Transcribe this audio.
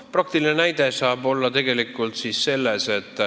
Praktiline näide saab tegelikult olla selline.